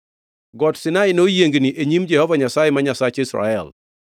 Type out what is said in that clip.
Got Sinai noyiengni e nyim Jehova Nyasaye, ma Nyasach Israel.